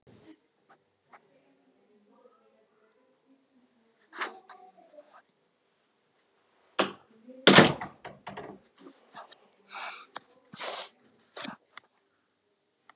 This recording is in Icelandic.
Það held ég líka